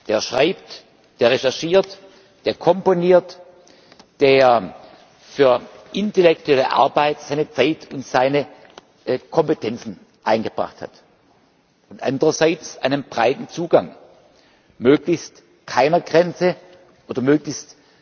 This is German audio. der schreibt, der recherchiert, der komponiert, der für intellektuelle Arbeit seine Zeit und seine Kompetenzen eingebracht hat, und andererseits einem breiten Zugang, möglichst keiner Grenze oder möglichst